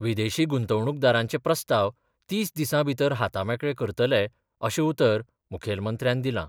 विदेशी गुंतवणूकदारांचे प्रस्ताव तीस दिसां भितर हातामेकळे करतले अशें उतर मुखेलमंत्र्यान दिलां.